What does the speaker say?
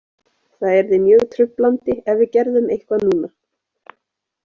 Það yrði mjög truflandi ef við gerðum eitthvað núna.